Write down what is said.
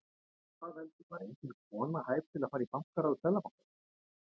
Hvað veldur, var engin kona hæf til að fara í bankaráð Seðlabankans?